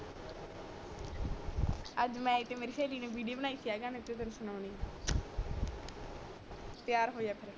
ਅਜ ਮੈਂ ਤੇ ਮੇਰੀ ਸਹੇਲੀ ਨੇ ਵੀ VIDEO ਬਨਾਇ ਪਿਆਰ ਹੋਯਾ